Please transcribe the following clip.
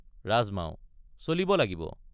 ৰাজমাও—চলিব লাগিব।